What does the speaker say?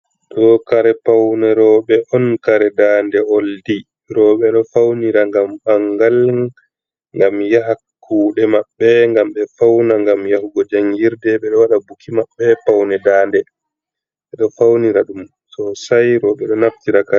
Ɗo kare pawne rowɓe on kare daande ,oldi rowɓe ɗo fawnira ngam ɓangal, ngam yaha kuuɗe maɓɓe, ngam ɓe fawna, ngam yahugo janngirde. Ɓe ɗo waɗa buki maɓɓe, pawne daande ɓe ɗo fawnira ɗum sosay rowɓe ɗo naftira ka.